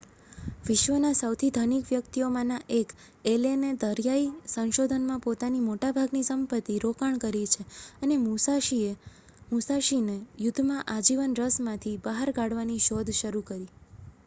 વિશ્વના સૌથી ધનિક વ્યક્તિઓમાંના 1 એલેને દરિયાઈ સંશોધનમાં પોતાની મોટાભાગની સંપત્તિ રોકાણ કરી છે અને મુસાશીને યુદ્ધમાં આજીવન રસમાંથી બહાર કાઢવાની શોધ શરૂ કરી